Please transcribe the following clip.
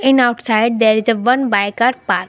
in outside there is a one bike are park.